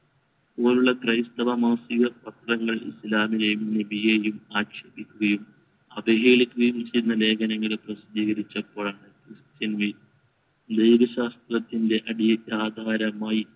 പോലുള്ള ക്രൈസ്തവ മാഫിയ പത്രങ്ങൾ ഇസ്ലാമിനെയും ലിപിയെയും ആക്ഷേപിക്കുകയും അവഹേളിക്കുകയും ചെയ്യുന്ന ലേഖനങ്ങൾ പ്രസിദ്ധീകരിച്ചപ്പോഴാണ് christian ശാസ്ത്രത്തിന്റെ അടിയെക് ആധാരമായി